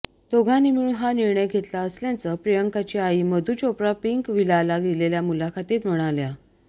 दोघांनी मिळून हा निर्णय घेतला असल्याचं प्रियांकाची आई मधू चोप्रा पिंक व्हिलाला दिलेल्या मुलाखतीत म्हणाल्या